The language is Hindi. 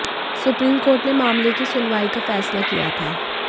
सुप्रीम कोर्ट ने मामले की सुनवाई का फैसला किया था